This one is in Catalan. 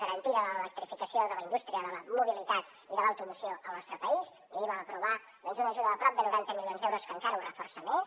garantida l’electrificació de la indústria de la mobilitat i de l’automoció al nostre país ahir vam aprovar una ajuda de prop de noranta milions d’euros que encara ho reforça més